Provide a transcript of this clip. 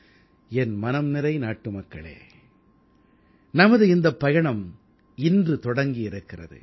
என் மனம் நிறை நாட்டுமக்களே நமது இந்தப் பயணம் இன்று தொடங்கி இருக்கிறது